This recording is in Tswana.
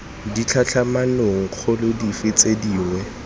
ditlhatlhamanong kgolo dife tse dingwe